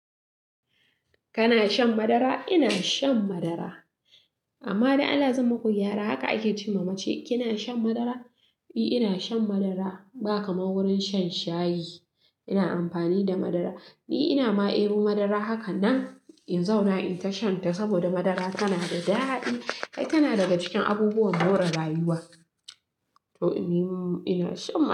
Kana shan madara? Ina shan madara. Amma da Allah zai maku gyara, haka ake ce ma mace, kina shan madara? I, ina shan madara. Ba kamar wurin shan shayi, ina amfani da madara. Ni ina ma ero madara haka nan in zauna in tashanta saboda madara tana da daɗi. Kai tana daga cikin abubuwan more rayuwa to, ni ina shan madara.